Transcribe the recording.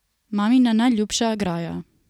Mamina najljubša graja.